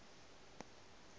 o se ke wa e